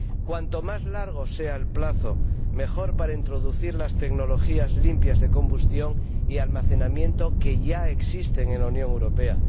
Cuanto más largo sea el plazo, mejor para introducir las tecnologías limpias de combustión y almacenamiento que ya existen en la Unión Europea.